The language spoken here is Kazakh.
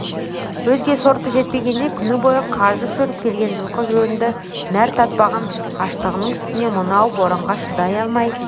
өзге соры жетпегендей күні бойы қажып жүріп келген жылқы жөнді нәр татпаған аштығының үстіне мынау боранға шыдай алмай